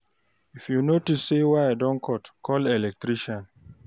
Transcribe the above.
If you notice sey wire don dey cut, call electrician